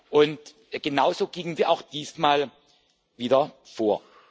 Und genauso gingen wir auch diesmal wieder vor.